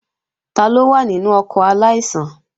Taló wà nínú ọkọ̀ aláìsàn?